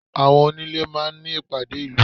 Àwọn onílé máa ń ní ìpàdé ìlú.